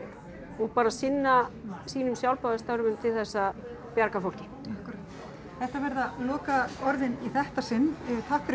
og bara sinna sínum til þess að bjarga fólki akkúrat þetta verða lokaorðin í þetta sinn takk fyrir